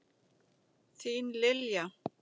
Þín, Lilja.